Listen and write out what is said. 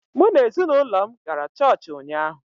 Mụ na ezinụlọ m gara chọọchị ụnyaahụ